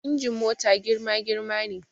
Injin mota girma girma ne